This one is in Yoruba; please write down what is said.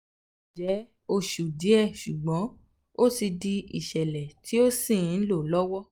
ó kàn jẹ́ oṣù díẹ̀ ṣùgbọ́n ó ti di ìṣẹ̀lẹ̀ tí ó sì ń lọ lọ́wọ́